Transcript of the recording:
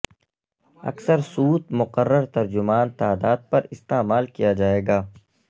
اکثر سوت مقرر ترجمان تعداد پر استعمال کیا جائے گا